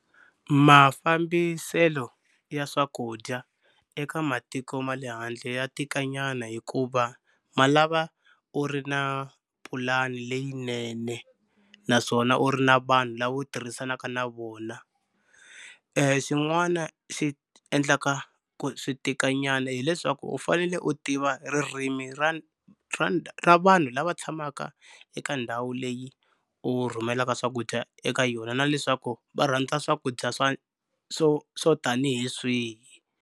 Mafambiselo ya swakudya eka matiko ma le handle ya tikanyana hikuva ma lava u ri na pulani leyinene naswona u ri na vanhu lava u tirhisanaka na vona. Xin'wana xi endlaka ku swi tikanyana hileswaku u fanele u tiva ririmi ra ra vanhu lava tshamaka eka ndhawu leyi u rhumelaka swakudya eka yona na leswaku va rhandza swakudya swa swo swo tanihi swihi.